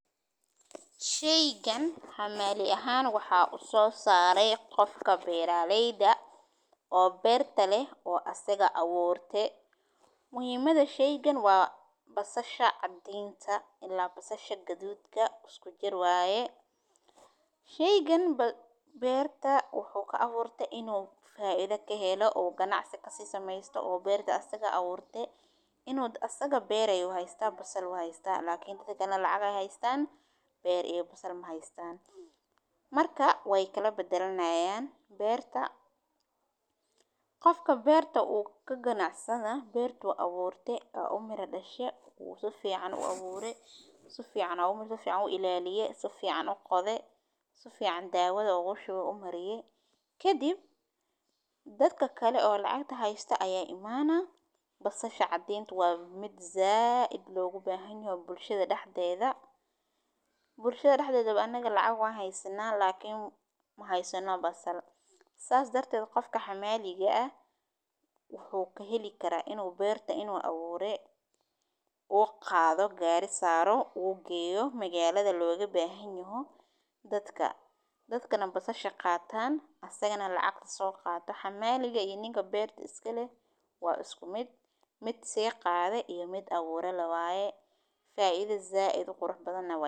Sheygan hamali ahan waxa u sare qof beraleyda ah. Muhimada sheygan waa basasha cadinka ila basasha gadudka isku jir waye, sheygan ila berta wuxu u aburte inu berta faido kahelo oo ganacsi kasamesto ,iyagana lacag ay heystan beer iyo wax kale maheystan. Marka wey kalabadalanayan qofka beerta kaganacsada bertu aburte. Miraa u dhashe si fican uu abure, si u qodhe, si fican dawada ugu shube ,kadib dadka oo lacagta heysta aya imanaa, basasha cadinka waa mid zaid logu bahan yahay bulshada dehdedha ,nulshada dehdedha anaga lacag wan heysana ila maheysano lacag. Sas darted qofka hamaliga ah wuxu kaheli karaa inu berta abure ,uu qadho gari saro berta geyo ,magaladha loga bahanyahay dadka basasha qatan asagana lacagta so qato .Hamaliga iyo ninka berta iskaleh waa isku mid ,mid sii qadhe iyo mid abure lee waye faido zaid u qurux badana waa.